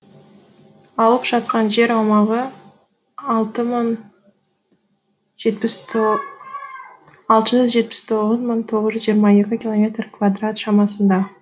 алып жатқан жер аумағы алты мың жетпіс алты жүз жетпіс тоғыз мың тоғыз жүз жиырма екі километр квадрат шамасында